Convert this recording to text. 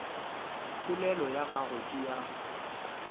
polelo ya gagwe ke ya